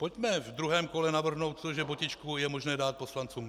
Pojďme v druhém kole navrhnout to, že botičku je možné dát poslancům.